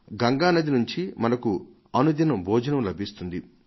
గంగానది నుంచి మనకు అనుదినం భోజనం లభిస్తుంది